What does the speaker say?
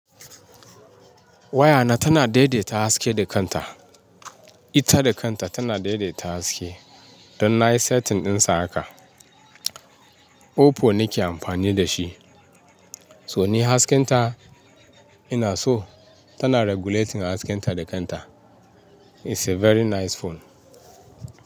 Wayana tana daidaita haske da kanta. Ita da kanta tana daidaita haske, don na yi setting dinsa haka. Oppo nake amfani da shi, so ni haskinta ina so, tana regulating haskenta da kanta. It's a very nice phone.